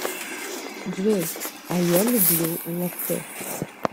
джой а я люблю латтэ